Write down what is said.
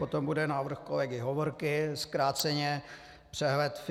Potom bude návrh kolegy Hovorky, zkráceně přehled všech